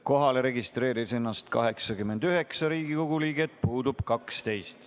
Kohalolijaks registreerus 89 Riigikogu liiget, puudub 12.